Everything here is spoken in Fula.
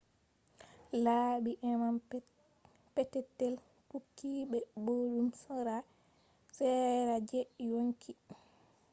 labi e’am petetel touki be boddum sera je yonki hundeji organism